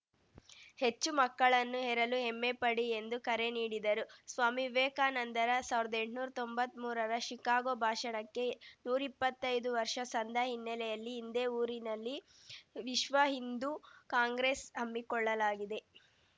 ಹೆಚ್ಚು ಮಕ್ಕಳನ್ನು ಹೆರಲು ಹೆಮ್ಮೆ ಪಡಿ ಎಂದು ಕರೆ ನೀಡಿದರು ಸ್ವಾಮಿ ವಿವೇಕಾನಂದರ ಸಾವಿರದಎಂಟ್ನೂರಾ ತೊಂಬತ್ಮೂರರ ಶಿಕಾಗೋ ಭಾಷಣಕ್ಕೆ ನೂರಿಪ್ಪತ್ತೈದು ವರ್ಷ ಸಂದ ಹಿನ್ನೆಲೆಯಲ್ಲಿ ಇದೇ ಊರಿನಲ್ಲಿ ವಿಶ್ವ ಹಿಂದೂ ಕಾಂಗ್ರೆಸ್‌ ಹಮ್ಮಿಕೊಳ್ಳಲಾಗಿದೆ